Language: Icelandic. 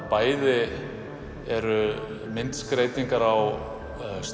bæði eru myndskreytingar á